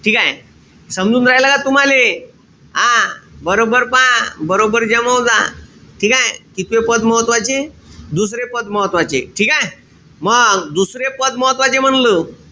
ठीकेय? समजून राईल का तुम्हाले? हां. बरोबर पहा. बरॊबर जमवजा. ठीकेय? कितवे पद महत्वाचे? दुसरे पद महत्वाचे. ठीकेय? मंग दुसरे पद महत्वाचे म्हंटल.